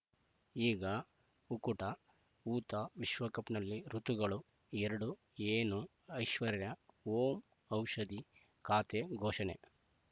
ಈಗ ಉಕುಟ ಊತ ವಿಶ್ವಕಪ್‌ನಲ್ಲಿ ಋತುಗಳು ಎರಡು ಏನು ಐಶ್ವರ್ಯಾ ಓಂ ಔಷಧಿ ಖಾತೆ ಘೋಷಣೆ